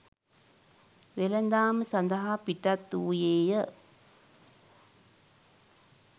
වෙළඳාම සඳහා පිටත් වූයේය.